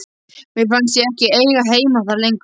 Mér fannst ég ekki eiga heima þar lengur.